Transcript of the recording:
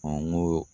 n ko